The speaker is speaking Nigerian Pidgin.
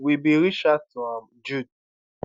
we bin reach out to am [jude]